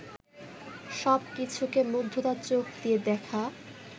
সব কিছুকে মুগ্ধতার চোখ দিয়ে দেখা